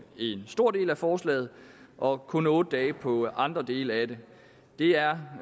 en stor del af forslaget og kun otte dage for andre dele af det det er